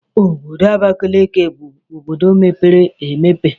Obodo Abakaliki bụ obodo mepere emepe.